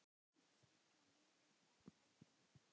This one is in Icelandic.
Stilla miðið eða stækka mörkin?